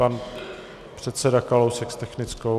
Pan předseda Kalousek s technickou.